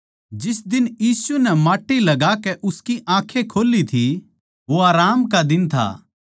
जिस दिन यीशु नै माट्टी उसकी आँखें खोल्ली थी वो आराम का दिन था